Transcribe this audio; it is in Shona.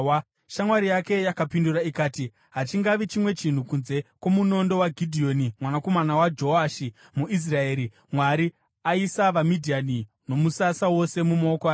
Shamwari yake yakapindura ikati, “Hachingavi chimwe chinhu kunze kwomunondo waGidheoni mwanakomana waJoashi, muIsraeri. Mwari aisa vaMidhiani nomusasa wose mumaoko ake.”